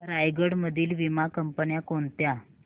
रायगड मधील वीमा कंपन्या कोणत्या